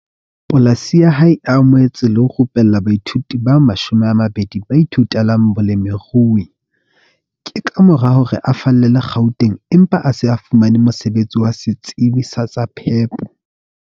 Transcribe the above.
Polasi ya hae e amohetse le ho rupella baithuti ba 20 ba ithutelang bolemirui. Ke ka mora hore a fallele Gauteng empa a se fumane mosebetsi wa setsebi sa tsa phepo.